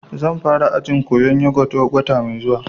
Zan fara ajin koyan yogut wata mai zuwa